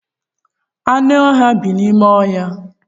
Anụ ọhịa bi n'ime ọhịa.